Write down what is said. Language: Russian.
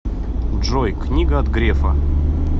джой книга от грефа